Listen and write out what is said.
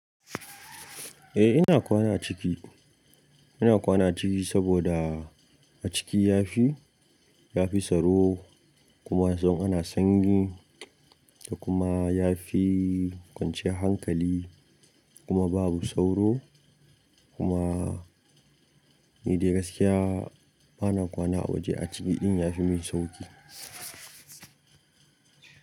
Eh ina kwana a ciki. Ina kwana ciki saboda a ciki yafi, yafi tsaro kuma sai in ana sanyi da kuma yafi kwance hankali kuma babu sauro kuma ni dai gaskiya bana kwana a waje, a ciki ɗin yafi min sauƙi.